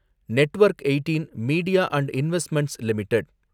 network eighteen media and investments limited